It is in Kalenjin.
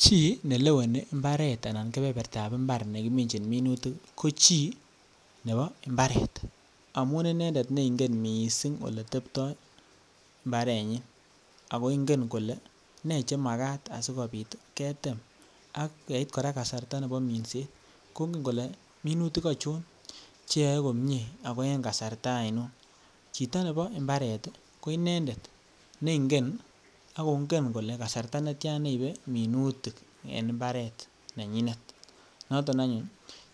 Chi ne leweni imbaret anan kebebertab imbar nekimichin minutik ko chi nebo imbaret amun inendet ne ingen missing ole tepto imbarenyin ago ingen kole ne che nemakat asikopit ketem ak yeit koraa kasarta nebo minset kongen kole minutik ochon che yoee komie ago en kasarta oinon. Chito nebo imbaret ko inendet ne ingen agongen kolee kasarta netyan neibe minutik en imbaret nenyinet noton anyun